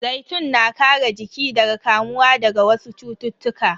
Zaitun na kare jiki daga kamuwa daga wasu cututtuka.